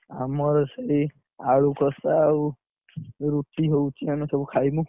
ଆମର ସେଇ ଆଳୁ କଷା ଆଉ, ରୁଟି ହଉଛି ଆମେ ସବୁ ଖାଇବୁ।